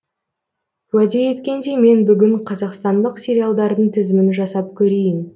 уәде еткендей мен бүгін қазақстандық сериалдардың тізімін жасап көрейін